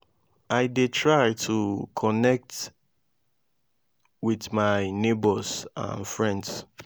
i dey try to connect with my neighbors and friends.